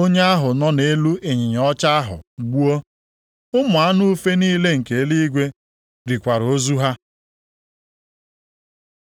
onye ahụ nọ nʼelu ịnyịnya ọcha ahụ gbuo. Ụmụ anụ ufe niile nke eluigwe rikwara ozu ha.